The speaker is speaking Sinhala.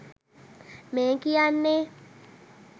මේ කියන්නෙ.